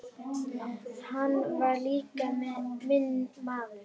Hann var líka minn maður.